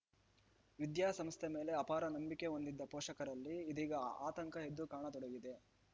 ವಿದ್ಯಾಸಂಸ್ಥೆ ಮೇಲೆ ಅಪಾರ ನಂಬಿಕೆ ಹೊಂದಿದ್ದ ಪೋಷಕರಲ್ಲಿ ಇದೀಗ ಆತಂಕ ಎದ್ದು ಕಾಣತೊಡಗಿದೆ